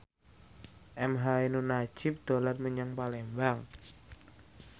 emha ainun nadjib dolan menyang Palembang